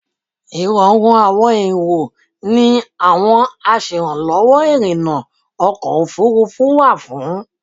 Ìrọ̀rùn àwọn èrò ni àwọn aṣèrànlọ́wọ́ ìrìnnà ọkọ̀ òfurufú wà fún.